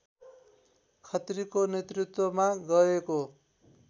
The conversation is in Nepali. खत्रीको नेतृत्वमा गएको